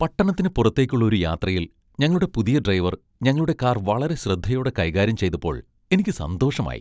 പട്ടണത്തിന് പുറത്തേക്കുള്ള ഒരു യാത്രയിൽ ഞങ്ങളുടെ പുതിയ ഡ്രൈവർ ഞങ്ങളുടെ കാർ വളരെ ശ്രദ്ധയോടെ കൈകാര്യം ചെയ്തപ്പോൾ എനിക്ക് സന്തോഷമായി.